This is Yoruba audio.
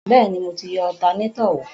Bẹ́ẹ̀ni, mo ti yẹ alternator wò